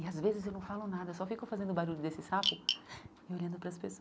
E às vezes eu não falo nada, só fico fazendo o barulho desse sapo e olhando para as